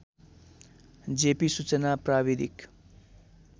JP सूचना प्राविधिक